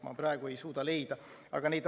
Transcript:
Ma praegu ei suuda seda leida.